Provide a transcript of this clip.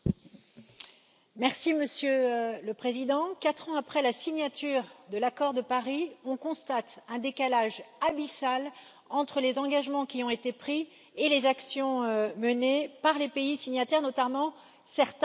Monsieur le Président, quatre ans après la signature de l'accord de Paris, on constate un décalage abyssal entre les engagements qui ont été pris et les actions menées par les pays signataires, notamment certains gros pollueurs.